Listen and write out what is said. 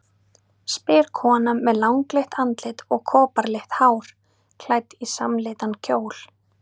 spyr kona með langleitt andlit og koparlitt hár, klædd í samlitan kjól.